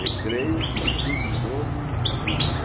Recreio, estudo de novo e e dormia.